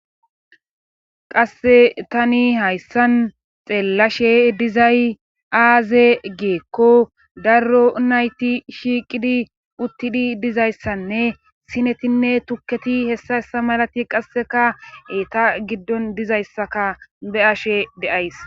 qasse tani hayssan xeellashe dizay aaze giikko darro nayti shiiqidi uttidi dizayssanne sinetinne tukketi hessa hessa malati qasseka eta giddon dizayssaka be7ashe de7ays